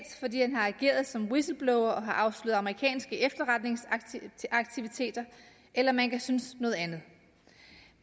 fordi han har ageret som whistleblower og har afsløret amerikanske efterretningsaktiviteter eller man kan synes noget andet